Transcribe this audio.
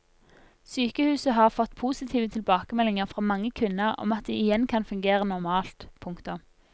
Sykehuset har fått positive tilbakemeldinger fra mange kvinner om at de igjen kan fungere normalt. punktum